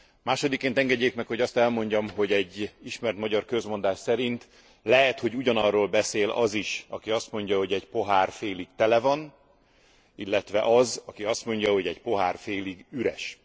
Másodikként engedjék meg, hogy azt elmondjam, hogy egy ismert magyar közmondás szerint lehet, hogy ugyanarról beszél az is, aki azt mondja, hogy egy pohár félig tele van, illetve az, aki azt mondja, hogy egy pohár félig üres.